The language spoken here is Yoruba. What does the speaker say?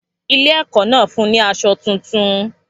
Ilé ẹ̀kọ́ náà fún un ní aṣọ tuntun.